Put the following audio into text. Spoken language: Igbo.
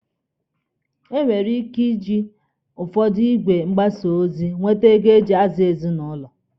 E nwekwara ike iji ụfọdụ igwe mgbasa ozi ọtụtụ mmadụ enweta ego eji azụ ezinụlọ.